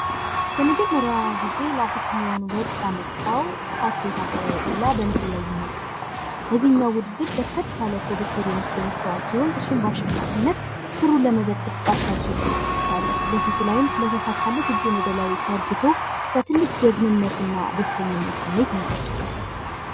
የመጀመሪያ ጊዜ ለአፍሪካውያን ወርቅ ያመጣው አትሌት አበበ ቢቂላ በምስሉ ላይ ይመለከታል። በዚህኛው ውድድር በርከት ያለ ሰው በስቴድየም ውስጥ የሚስተዋል ሲሆን፤ እሱም በአሸናፊነት ክሩን ለመበጠስ ጫፍ ደርሶ እንመለከታለን። በፊቱ ላይም ስለ ተሳካለት እጁን ወደ ላይ ዘርግቶ በትልቅ ጀግንነትና ደስተኝነት ስሜት ይመለከታል።